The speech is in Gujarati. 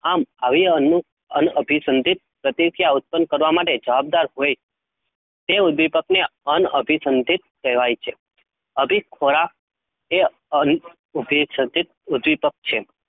આમ અનું અભી, સંધીત પ્રતિથીયા ઉભી કરવા માંટે જવાબદાર હોય, તેઓ દીપક ને, અં અંસિદ્દત કેહવાય છે? અભિ ખોરાક તે ઉભી સંદિદ્દત દીપક છે?